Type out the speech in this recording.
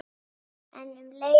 En um leið og